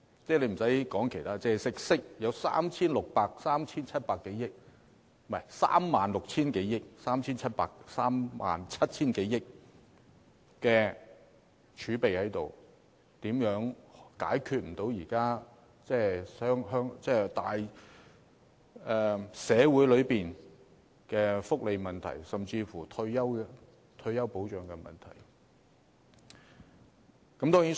撇開其他方面不談，我們有 36,000 億元、37,000 多億元的儲備，又怎會解決不了現時的社會福利問題，甚至退休保障問題呢？